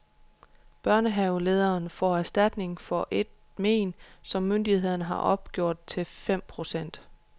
Børnehavelederen får erstatningen for et men, som myndighederne har opgjort til femten procent.